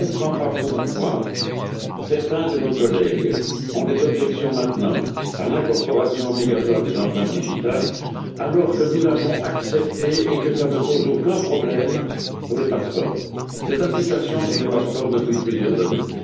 Je ne comprends pas pourquoi certains de nos collègues ont des objections, maintenant, à l'incorporation obligatoire des empreintes digitales, alors que nous l'avons acceptée et que cela ne pose aucun problème pour les passeports ces empreintes sont une réalité dans les passeports depuis plusieurs années.